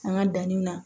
An ka danni na